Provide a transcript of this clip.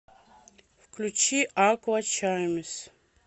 включи аква чаймс